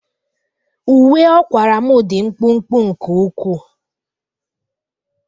Uwe ọ kwara m dị mkpụmkpụ nke ukwuu